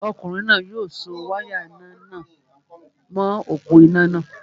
Ọkùnrin náà yóò so wáyà iná nà mọ̀ọ́ òpó-iná náà